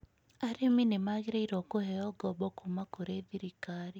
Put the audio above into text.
Arĩmi nĩ magĩrĩire kũheo ngombo kuuma kũrĩ thirikari.